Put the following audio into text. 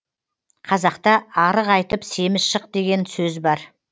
қазақта арық айтып семіз шық деген сөз бар